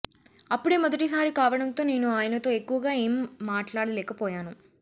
అప్పుడే మొదటి సారి కావడంతో నేను ఆయనతో ఎక్కువగా ఏం మాట్లాడలేకపోయాను